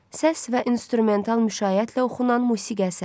Səs və instrumental müşayiətlə oxunan musiqi əsəri.